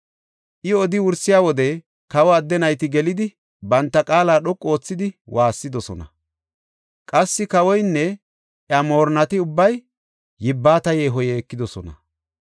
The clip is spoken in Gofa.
I odi wursiya wode kawa adde nayti gelidi banta qaala dhoqu oothidi waassidosona. Qassi kawoynne iya moorinnati ubbay yibbata yeeho yeekidosona.